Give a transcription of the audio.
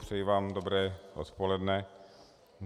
Přeji vám dobré odpoledne.